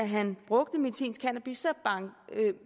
han brugte medicinsk cannabis